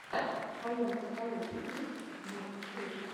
в твоем каталоге есть мэдкрис